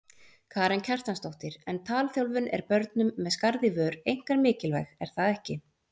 Karen Kjartansdóttir: En talþjálfun er börnum með skarð í vör einkar mikilvæg er það ekki?